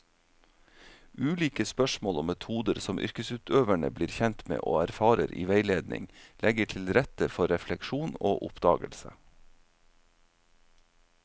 Ulike spørsmål og metoder som yrkesutøverne blir kjent med og erfarer i veiledning, legger til rette for refleksjon og oppdagelse.